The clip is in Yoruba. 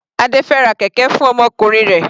Adé fẹ ra kẹ̀kẹ́ fún ọmọkùnrin rẹ̀.